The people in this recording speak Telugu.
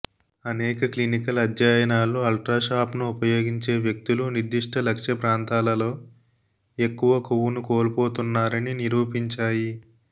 అనేక క్లినికల్ అధ్యయనాలు అల్ట్రాషాప్ను ఉపయోగించే వ్యక్తులు నిర్దిష్ట లక్ష్య ప్రాంతాలలో ఎక్కువ కొవ్వును కోల్పోతున్నారని నిరూపించాయి